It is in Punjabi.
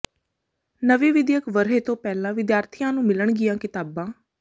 ਨਵੇਂ ਵਿੱਦਿਅਕ ਵਰ੍ਹੇ ਤੋਂ ਪਹਿਲਾਂ ਵਿਦਿਆਰਥੀਆਂ ਨੂੰ ਮਿਲਣਗੀਆਂ ਕਿਤਾਬਾਂ